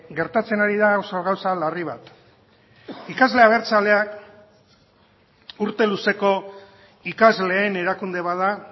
gertatzen ari da oso gauza larri bat ikasle abertzaleak urte luzeko ikasleen erakunde bat da